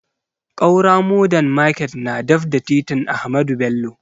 Ƙaura modern market na daf da titin ahamadu bello